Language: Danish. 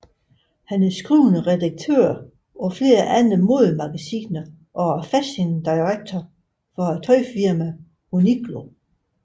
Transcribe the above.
Han er skrivende redaktør på flere andre modemagasiner og er fashion director for tøjfirmaet Uniqlo